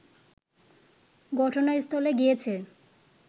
ঘটনাস্থলে গিয়েছে